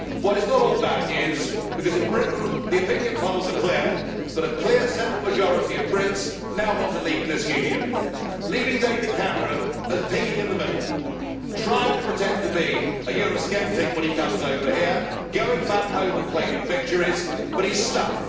It is not all bad news, because in Britain the opinion polls are clear that a clear, settled majority of Brits now want to leave this Union, leaving David Cameron as piggy in the middle, trying to pretend to be a eurosceptic when he comes over here, going back home and claiming victories but he is stuck.